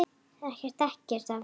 Ég þekki ekkert af þessu.